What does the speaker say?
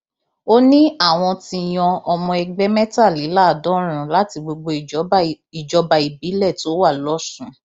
ó ní àwọn ti yan ọmọ ẹgbẹ mẹtàléláàádọrùnún láti gbogbo ìjọba ìbílẹ tó wà lọsùn